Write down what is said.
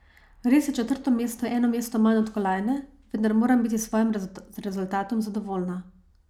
Res je četrto mesto eno mesto manj od kolajne, vendar moram biti s svojim rezultatom zadovoljna.